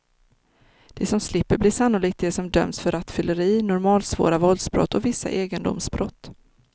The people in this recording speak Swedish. De som slipper blir sannolikt de som dömts för rattfylleri, normalsvåra våldsbrott och vissa egendomsbrott.